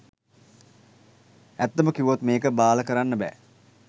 ඇත්තම කිව්වොත් මේක බාල කරන්න බෑ